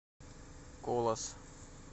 колос